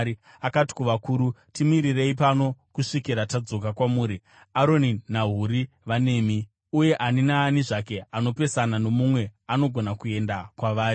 Akati kuvakuru, “Timirirei pano kusvikira tadzoka kwamuri. Aroni naHuri vanemi, uye ani naani zvake anopesana nomumwe anogona kuenda kwavari.”